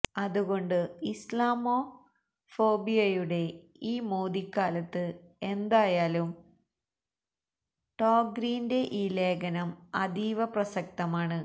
അതുകൊണ്ട് ഇസ്ലാമോ ഫോബിയയുടെ ഈ മോദിക്കാലത്ത് എന്തായാലും ടോഡ് ഗ്രീന്റെ ഈ ലേഖനം അതീവ പ്രസക്തമാണ്